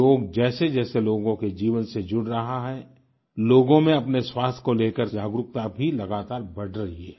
योग जैसेजैसे लोगों के जीवन से जुड़ रहा है लोगों में अपने स्वास्थ्य को लेकर जागरूकता भी लगातार बढ़ रही है